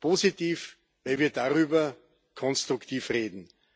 Positiv, weil wir darüber konstruktiv reden.